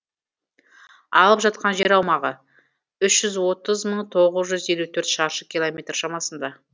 алып жатқан жер аумағы үш жүз отыз мың тоғыз жүз елу төрт шаршы километр шамасында